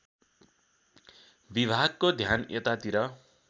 विभागको ध्यान यतातिर